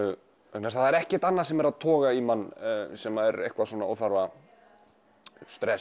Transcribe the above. vegna þess að það er ekkert annað sem er að toga í mann sem er eitthvað svona óþarfa stress